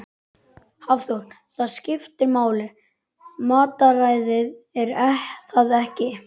Hafþór: Það skiptir máli matarræðið er það ekki?